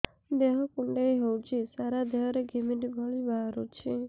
ଦେହ କୁଣ୍ଡେଇ ହେଉଛି ସାରା ଦେହ ରେ ଘିମିରି ଭଳି ବାହାରୁଛି